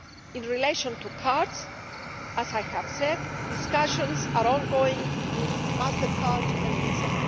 In relation to cards, as I have said, discussions are ongoing with Mastercard and Visa.